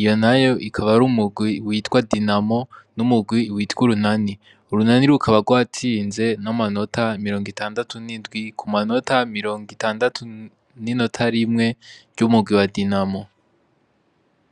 iyo nayo akaba ari umugwi witwa dinamo n'umurwi witwa urunani, urunani rukaba rwatsinze n'amanota mirongo itandatu n'indwi ku manota mirongo itandatu n'inota rimwe ry'umugwi wa dinamo.